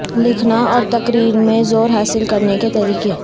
لکھنا اور تقریر میں زور حاصل کرنے کے طریقے